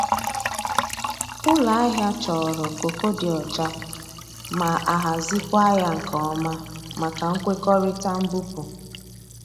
Ụlọ ahịa chọrọ kooko dị ọcha ma ahazikwa ya nke ọma maka nkwekọrịta mbupụ.